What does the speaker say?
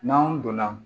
N'anw donna